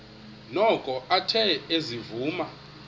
noko athe ezivuma